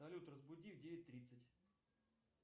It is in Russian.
салют разбуди в девять тридцать